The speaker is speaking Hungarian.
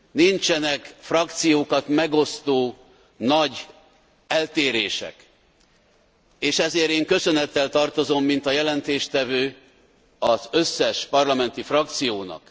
Nincsenek frakciókat megosztó nagy eltérések, és ezért én köszönettel tartozom, mint a jelentéstevő, az összes parlamenti frakciónak.